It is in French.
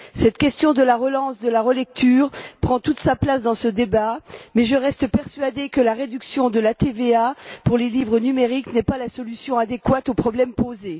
Cette question de la relance de la lecture prend toute sa place dans ce débat, mais je reste persuadée que la réduction de la TVA pour les livres numériques n'est pas la solution adéquate au problème posé.